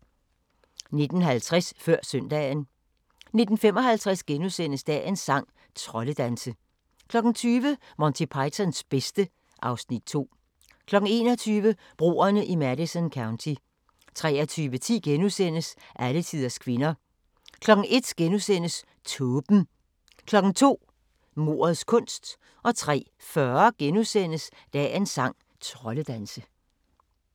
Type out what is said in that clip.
19:50: Før Søndagen 19:55: Dagens sang: Troldedanse * 20:00: Monty Pythons bedste (Afs. 2) 21:00: Broerne i Madison County 23:10: Alletiders kvinder * 01:00: Tåben * 02:00: Mordets kunst 03:40: Dagens sang: Troldedanse *